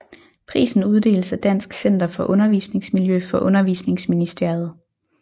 Prisen uddeles af Dansk Center for Undervisningsmiljø for Undervisningsministeriet